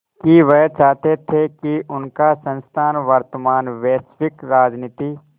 कि वह चाहते थे कि उनका संस्थान वर्तमान वैश्विक राजनीति